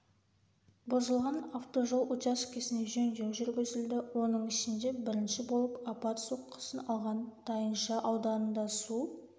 бұзылған автожол учаскесіне жөндеу жүргізілді оның ішінде бірінші болып апат соққысын алған тайынша ауданында су